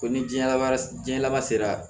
Ko ni diɲɛ laban jiyɛn laban sera